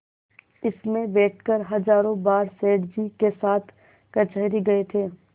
इसमें बैठकर हजारों बार सेठ जी के साथ कचहरी गये थे